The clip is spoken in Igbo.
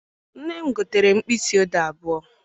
Nne m gotere m mkpịsị odee abụọ.